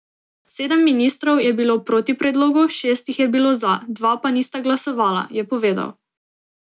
Sedem ministrov je bilo proti predlogu, šest jih je bilo za, dva pa nista glasovala, je povedal.